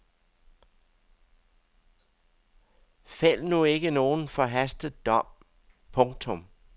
Fæld nu ikke nogen forhastet dom. punktum